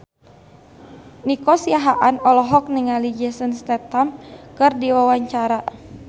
Nico Siahaan olohok ningali Jason Statham keur diwawancara